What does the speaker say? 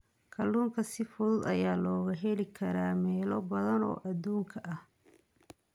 Kalluunka si fudud ayaa looga heli karaa meelo badan oo adduunka ah.